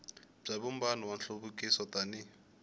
bya vumbano wa nhluvukiso tani